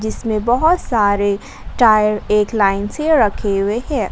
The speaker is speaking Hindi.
इसमें बहोत सारे टायर एक लाइन से रखे हुए हैं।